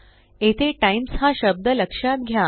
येथे टाईम्स हा शब्द लक्षात घ्या